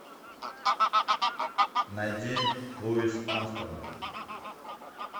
найди луис армстронг